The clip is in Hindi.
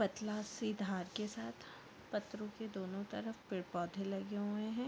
पतला से धार के साथ पत्थरों के दोनों तरफ पेड़ - पौधे लगे हुए है।